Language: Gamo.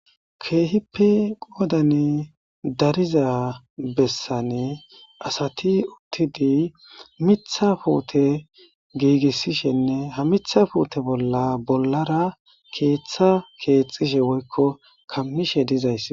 Keehippi qoodane dariza bessane asati uttidi mitha puute giigissishenne ha mitha puute bolla bollara keeththa keexxishe woykko kammishe dizays.